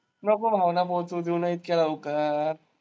नको भावना पोचवू देऊ ना इतक्या लवकर.